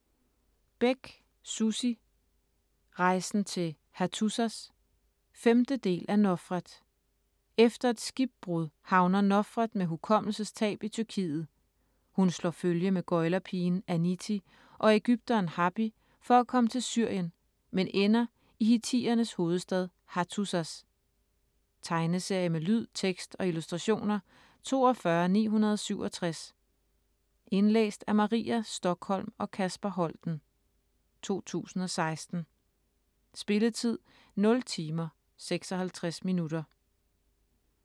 Bech, Sussi: Rejsen til Hattusas 5. del af Nofret. Efter et skibbrud havner Nofret med hukommelsestab i Tyrkiet. Hun slår følge med gøglerpigen Anitti og ægypteren Hapi for at komme til Syrien, men ender i hittiternes hovedstad Hattusas. Tegneserie med lyd, tekst og illustrationer 42967 Indlæst af Maria Stokholm og Kasper Holten, 2016. Spilletid: 0 timer, 56 minutter.